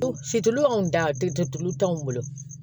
anw da den tulu t'anw bolo